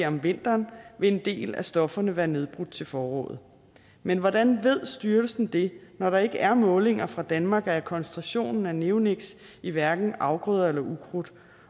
om vinteren vil en del af stofferne være nedbrudt til foråret men hvordan ved styrelsen det når der ikke er målinger fra danmark af koncentrationen af neoniks i hverken afgrøder eller ukrudt